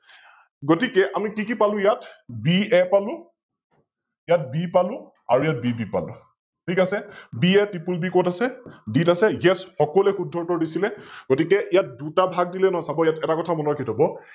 গতিকে আমি কি পালো ইয়াত, BA পালো, ইয়াত B পালো আৰু ইয়াত BB পালো । ঠিক আছে । BATripleB কত আছে? B ত আছে । Yes সকলোৱে শুদ্ধ উত্তৰ দিছিলে, গতিকে ইয়াত দুটা ভাগ দিলে চাব এটা কথা মনত ৰাখি থব